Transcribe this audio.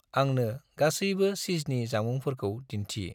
आंनो गासैबो चीजनि जामुंफोरखौ दिन्थि।